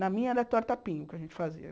Na minha era tortapinho, que a gente fazia.